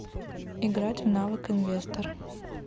играть в навык инвестор